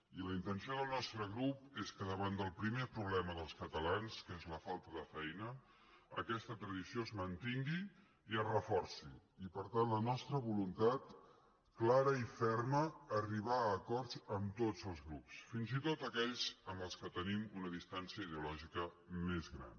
i la intenció del nostre grup és que davant del primer problema dels catalans que és la falta de feina aquesta tradició es mantingui i es reforci i per tant la nostra voluntat clara i ferma d’arribar a acords amb tots els grups fins i tot aquells amb els quals tenim una distància ideològica més gran